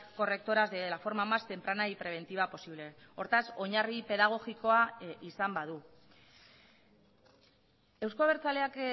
correctoras de la forma más temprana y preventiva posible hortaz oinarri pedagogikoa izan badu euzko abertzaleak